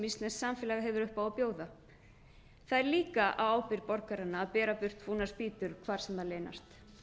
íslenskt samfélag hefur upp á að bjóða það er líka á ábyrgð borgaranna að bera burt fúnar spýtur hvar sem þær leynast